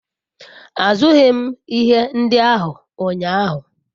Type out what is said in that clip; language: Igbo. azughi ihe ndi ahu unyahu